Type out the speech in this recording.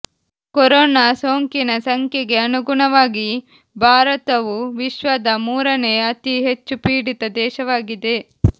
corona ಸೋಂಕಿನ ಸಂಖ್ಯೆಗೆ ಅನುಗುಣವಾಗಿ ಭಾರತವು ವಿಶ್ವದ ಮೂರನೇ ಅತಿ ಹೆಚ್ಚುಪೀಡಿತ ದೇಶವಾಗಿದೆ